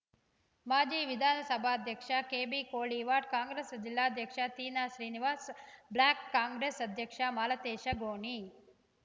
ಮಾಜಿ ವಿಧಾನಸಭಾಧ್ಯಕ್ಷ ಕೆಬಿ ಕೋಳಿವಾಡ್‌ ಕಾಂಗ್ರೆಸ್‌ ಜಿಲ್ಲಾಧ್ಯಕ್ಷ ತೀನಾ ಶ್ರೀನಿವಾಸ್‌ ಬ್ಲಾಕ್‌ ಕಾಂಗ್ರೆಸ್‌ ಅಧ್ಯಕ್ಷ ಮಾಲತೇಶ ಗೋಣಿ